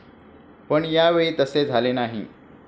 पण या वेळी तसे झाले नाही.